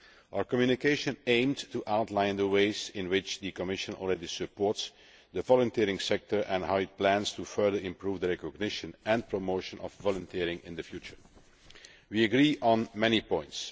Our communication aimed to outline the ways in which the Commission already supports the voluntary sector and how it plans to further improve the recognition and promotion of volunteering in the future. We agree on many points.